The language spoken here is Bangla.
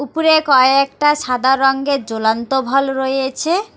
উপরে কয়েকটা সাদা রঙ্গের জ্বলান্ত ভল রয়েছে।